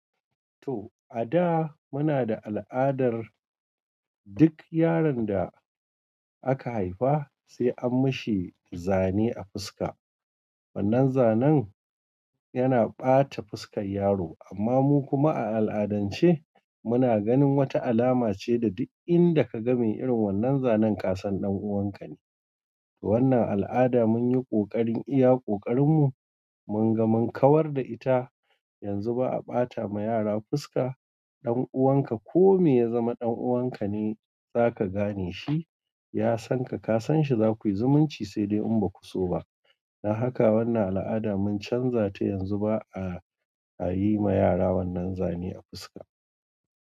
To, a da muna da al adar duk yaron da aka haifa sai an mishi zane a fuska. Wannan zanan yana ɓata fuskar yaro, amma mu kuma a al'adance muna ganin wata alama ce da duk inda ka ga me irin wannan zanen, ƙasan ɗan uwanka ne. To wannan al'ada munyi ƙoƙarin iya ƙoƙarinmu mun ga mun kawar da ita. Yanzu ba a ɓata ma yara fuska. Ɗan uwanka ko me ya zama ɗan uwanka ne za ka gane shi. Ya san ka, ka san shi, za kui zumunci sai dai in baku so ba. Don haka wannan al'ada mun canza ta. Yanzu ba a yi ma yara wannan zane a fuska.